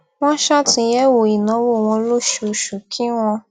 wón ṣàtunyewo ìnáwó wọn o lóṣooṣù kí wón